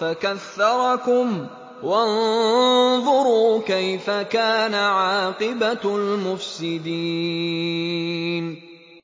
فَكَثَّرَكُمْ ۖ وَانظُرُوا كَيْفَ كَانَ عَاقِبَةُ الْمُفْسِدِينَ